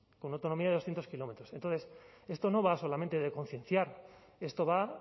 con autonomía de doscientos kilómetros entonces esto no va solamente de concienciar esto va